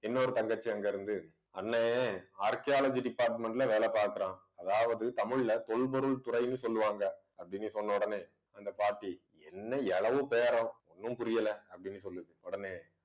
இன்னொரு தங்கச்சி அங்க இருந்து அண்ணே archaeology department ல வேலை பார்க்கிறான். அதாவது தமிழ்ல தொல்பொருள் துறைன்னு சொல்லுவாங்க அப்பிடின்னு சொன்ன உடனே அந்த பாட்டி என்ன எழவு பேரம் ஒண்ணும் புரியல அப்பிடின்னு சொல்லுது. உடனே